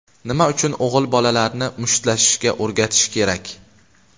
Nima uchun o‘g‘il bolalarni mushtlashishga o‘rgatish kerak?.